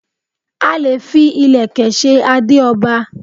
A leè fi Ìlẹ̀kẹ̀ se adé oba